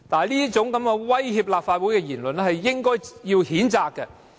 這種威脅立法會的言論，應該予以譴責。